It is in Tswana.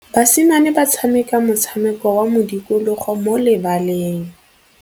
Basimane ba tshameka motshameko wa modikologô mo lebaleng.